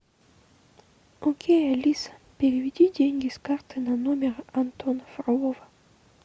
окей алиса переведи деньги с карты на номер антона фролова